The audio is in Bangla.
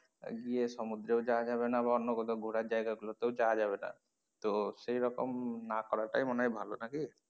গিয়েও সমুদ্রেও যাওয়া যাবে না বা অন্য কোথাও ঘোরার জায়গা গুলো তেও যাওয়া যাবে না তো সেরকম না করা টাই ভালো নাকি?